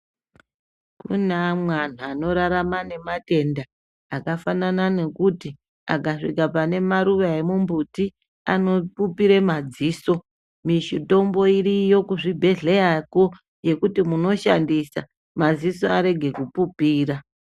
Kune amweni antu anorarama nematenda akafanana nekuti akasvika pane maruva emumbuti vanopupire madziso. Mitombo iriyo kuzvi bhedhlerakwo yekuti munoshandisa madziso arege kupupira.